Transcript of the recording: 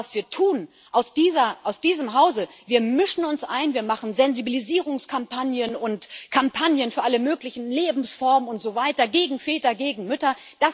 Aber was wir tun aus diesem Hause wir mischen uns ein, wir machen Sensibilisierungskampagnen und Kampagnen für alle möglichen Lebensformen und so weiter, gegen Väter, gegen Mütter.